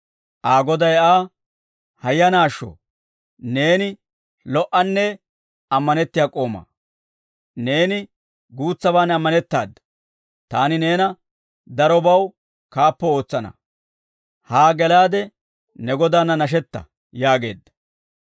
Aa goday Aa, ‹Hayyanaashsho! Neeni lo"anne ammanettiyaa k'oomaa; neeni guutsaban ammanettaada. Taani neena darobaw kaappo ootsana; haa gelaade ne godaanna nashetta› yaageedda.